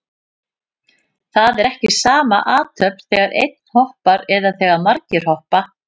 Það er ekki sama athöfn þegar einn hoppar eða þegar margir hoppa.